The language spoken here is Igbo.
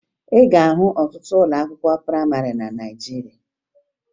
Ị ga-ahụ ọtụtụ ụlọ akwụkwọ prayịmarị na Naịjirịa